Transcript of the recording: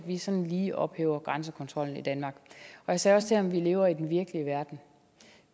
at vi sådan lige ophæver grænsekontrollen i danmark og jeg sagde også til ham at vi lever i den virkelige verden